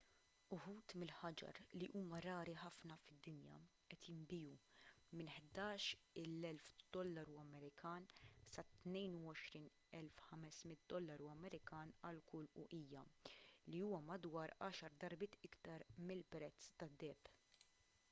uħud mill-ħaġar li huma rari ħafna fid-dinja qed jinbiegħu minn us$11,000 sa $22,500 għal kull uqija li huwa madwar għaxar darbiet iktar mill-prezz tad-deheb